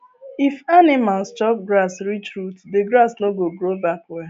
if animals chop grass reach root the grass no go grow back well